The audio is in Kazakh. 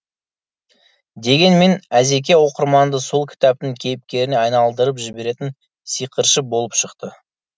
дегенмен әзеке оқырманды сол кітаптың кейіпкеріне айналдырып жіберетін сиқыршы болып шықты